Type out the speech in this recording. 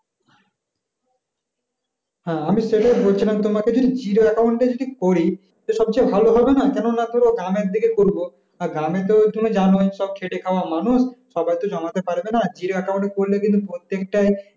হ্যাঁ আমি সেটই বলছিলাম তোমাকে যে zero account এ যদি করি তো সবচেয়ে ভালো হবেনা কেন না ধরো গ্রামের দিকে করবো আর গ্রামে তো তুমি জানোই সব খেতে খাওয়া মানুষ সবাই তো জমাতে পারবেনা zero account এ করলে কিন্তু প্রত্যেকটাই